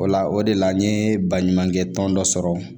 O la o de la n ye baɲumankɛ tɔn dɔ sɔrɔ